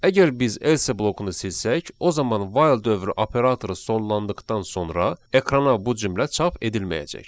Əgər biz else blokunu silsək, o zaman while dövrü operatoru sonlandıqdan sonra ekrana bu cümlə çap edilməyəcək.